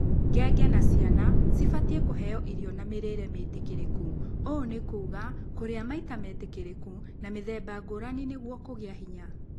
Ngenge na ciana cibatiĩ kũheo ĩrio na mĩrĩre mĩtĩkĩrĩku. Ũũ nĩ kuuga kũrĩa maita metĩkĩrĩku na mĩthemba ngũrani nĩguo kũgia hĩnya